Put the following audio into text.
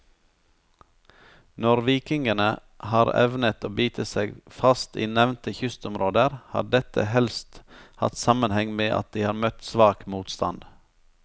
Når vikingene har evnet å bite seg fast i nevnte kystområder, har dette helst hatt sammenheng med at de har møtt svak motstand.